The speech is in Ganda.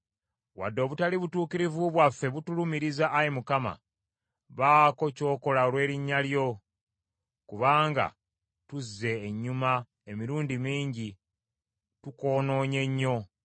Wadde obutali butuukirivu bwaffe butulumiriza, Ayi Mukama , baako ky’okola olw’erinnya lyo. Kubanga tuzze ennyuma emirundi mingi, tukwonoonye nnyo.